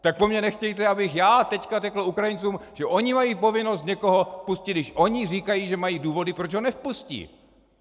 Tak po mě nechtějte, abych já teď řekl Ukrajincům, že oni mají povinnost někoho vpustit, když oni říkají, že mají důvody, proč ho nevpustí.